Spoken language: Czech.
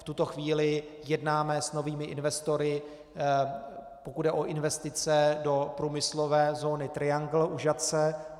V tuto chvíli jednáme s novými investory, pokud jde o investice do průmyslové zóny Triangle u Žatce.